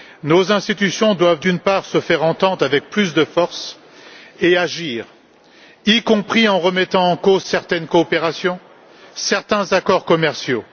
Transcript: Nos institutions doivent, d'une part, se faire entendre, avec plus de force et agir, y compris en remettant en cause certaines coopérations, certains accords commerciaux.